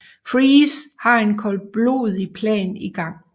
Freeze har en koldblodig plan i gang